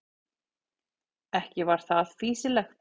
Ekki var það fýsilegt.